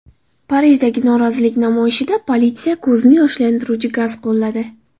Parijdagi norozilik namoyishida politsiya ko‘zni yoshlantiruvchi gaz qo‘lladi.